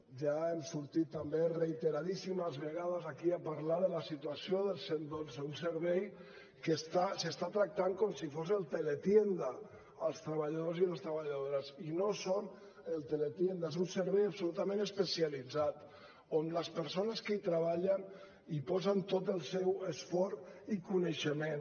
ja hem sortit també reiteradíssimes vegades aquí a parlar de la situació del cent i dotze un servei en què s’estan tractant com si fos el teletienda els treballadors i les treballadores i no són el teletienda és un servei absolutament especialitzat on les persones que hi treballen hi posen tot el seu esforç i coneixement